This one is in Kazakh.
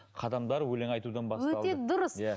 қадамдар өлең айтудан басталды өте дұрыс иә